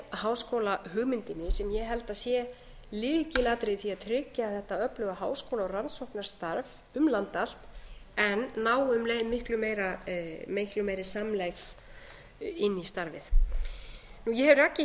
netháskólahugmyndina sem ég held að sé lykilatriði sé að tryggja þetta öfluga háskóla og rannsóknarstarf um land allt en ná um leið miklu meiri samlegð inn í starfið ég hef rakið